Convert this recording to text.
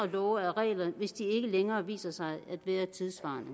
love og regler hvis de ikke længere viser sig at være tidssvarende